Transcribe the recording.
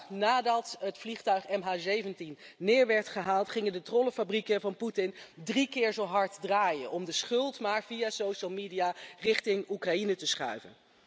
De dag nadat het vliegtuig MH17 neer werd gehaald, gingen de trollenfabrieken van Poetin drie keer zo hard draaien om de schuld via de sociale media richting Oekraïne te schuiven.